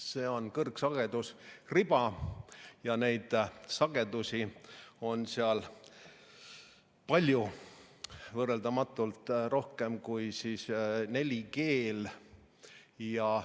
See on kõrgsagedusriba ja neid sagedusi on seal palju, võrreldamatult rohkem kui 4G puhul.